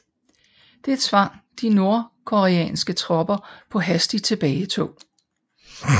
Det tvang de nordkoreanske tropper på hastigt tilbagetog